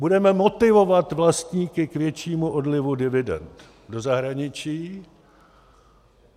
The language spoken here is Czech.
Budeme motivovat vlastníky k většímu odlivu dividend do zahraničí.